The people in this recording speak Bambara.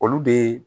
Olu de